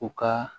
U ka